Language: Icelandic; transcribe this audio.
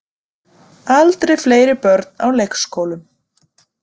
Aldrei fleiri börn á leikskólum